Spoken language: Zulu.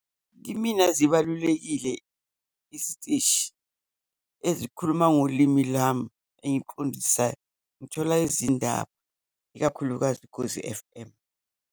Kimina, zibalulekile isiteshi ezikhuluma ngolimi lami engiliqondisayo, ngithola izindaba, ikakhulukazi uKhozi F_M.